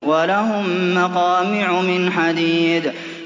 وَلَهُم مَّقَامِعُ مِنْ حَدِيدٍ